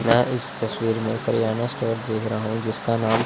यह इस तस्वीर में किरयाना स्टोर देख रहा हूं जिसका नाम--